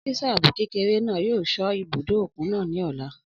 Ọ́físà ààbò kékeré náà yóò sọ́ ibùdó òkun náà ní ọ̀la